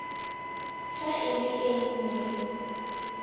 fa e le e nnye